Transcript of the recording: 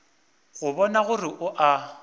go bona gore o a